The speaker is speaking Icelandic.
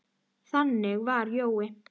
Þannig var Jói.